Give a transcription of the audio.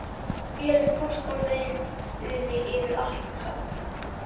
Vélin fórst á leiðinni yfir Atlantshaf.